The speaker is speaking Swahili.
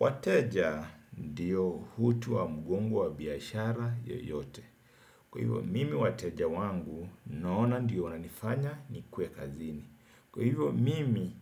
Wateja ndio utu wa mgongo wa biashara yeyote. Kwa hivyo mimi wateja wangu naona ndio wananifanya nikue kazini. Kwa hivyo mimi,